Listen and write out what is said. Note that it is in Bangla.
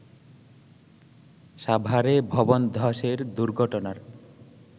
সাভারে ভবন ধসের দুর্ঘটনার